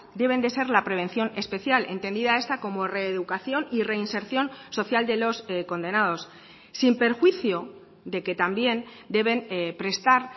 deben de ser la prevención especial entendida esta como reeducación y reinserción social de los condenados sin perjuicio de que también deben prestar